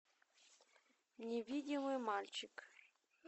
невидимый мальчик